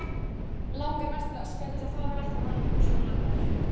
Langar mest til að öskra, þetta er svo fáránlegt og hann svo glataður.